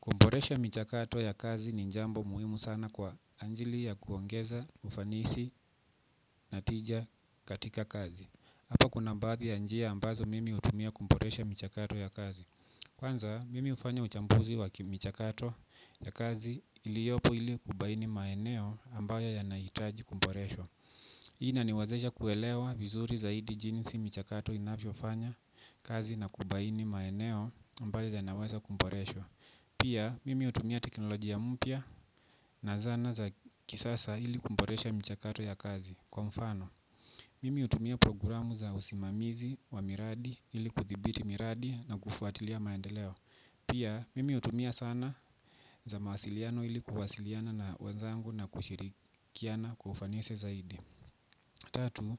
Kuboresha michakato ya kazi ni jambo muhimu sana kwa ajili ya kuongeza ufanisi na tija katika kazi hapa kuna baadhi ya njia ambazo mimi hutumia kuboresha michakato ya kazi. Kwanza, mimi hufanya uchambuzi wa michakato ya kazi iliyopo ili kubaini maeneo ambayo yanahitaji kuboreshwa. Hii inaniwezesha kuelewa vizuri zaidi jinsi michakato inavyofanya kazi na kubaini maeneo ambayo yanaweza kuboreshwa. Pia, mimi hutumia teknolojia mpya na zana za kisasa ili kuboresha michakato ya kazi kwa mfano. Mimi hutumia programu za usimamizi wa miradi ili kuthibiti miradi na kufuatilia maendeleo. Pia, mimi hutumia zana za mawasiliano ili kuwasiliana na wenzangu na kushirikiana kwa ufanisi zaidi. Tatu,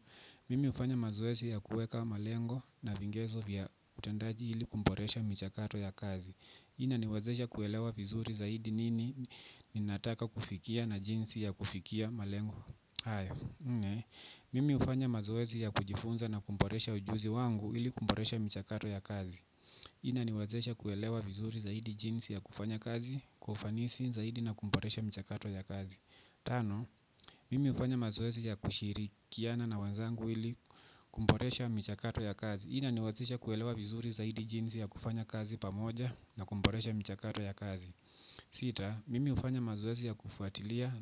mimi hufanya mazoezi ya kuweka malengo na vigezo vya utendaji ili kuboresha michakato ya kazi. Hii inaniwazesha kuelewa vizuri zaidi nini ninataka kufikia na jinsi ya kufikia malengo hayo nne. Mimi hufanya mazoezi ya kujifunza na kuboresha ujuzi wangu ili kuboresha michakato ya kazi. Hii inaniwezesha kuelewa vizuri zaidi jinsi ya kufanya kazi kwa ufanisi zaidi na kuboresha michakato ya kazi tano mimi hufanya mazoezi ya kushirikiana na wenzangu ili kuboresha michakato ya kazi hii inaniwezesha kuelewa vizuri zaidi jinsi ya kufanya kazi pamoja na kuboresha michakato ya kazi. Sita, mimi hufanya mazoezi ya kufuatilia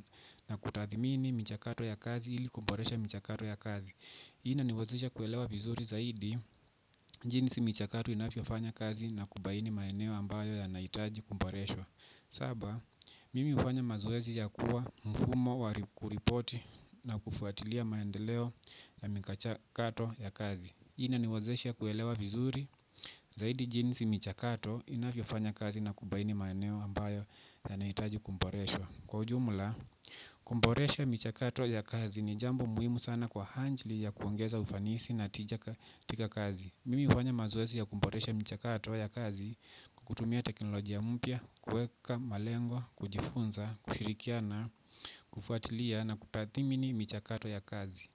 na kutathmini michakato ya kazi ili kuboresha michakato ya kazi hii inaniwezesha kuelewa vizuri zaidi jinsi michakato inavyofanya kazi na kubaini maeneo ambayo yanahitaji kuboreshwa saba mimi hufanya mazoezi ya kuwa mfumo wa kuripoti na kufuatilia maendeleo ya michakato ya kazi. Inaniwezesha kuelewa vizuri zaidi jinsi michakato inavyofanya kazi na kubaini maeneo ambayo yanahitaji kuboreshwa kwa ujumla kuboresha michakato ya kazi ni jambo muhimu sana kwa ajili ya kuongeza ufanisi na tija katika kazi mimi hufanya mazoezi ya kuboresha michakato ya kazi kwa kutumia teknolojia mpya, kuweka malengo, kujifunza, kushirikiana, kufuatilia na kutathmini michakato ya kazi.